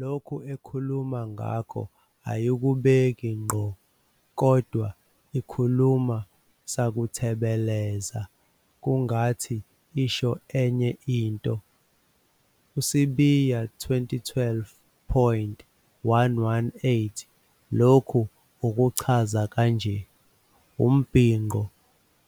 Lokhu ekhuluma ngakho ayikubeki ngqo kodwa ikhuluma sakuthemeleza kungathi isho enye into. USibiya, 2012-118, lokhu ukuchaza kanje- "Umbhinqo